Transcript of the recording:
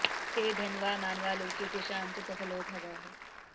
ते धन्या मानवा लोके तेषां च सफलो भवः